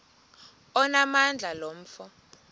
onamandla lo mfo